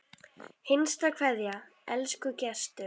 HINSTA KVEÐJA Elsku Gestur.